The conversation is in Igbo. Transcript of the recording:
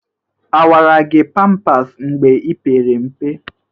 Awara gị pampas mgbe ipere mpe?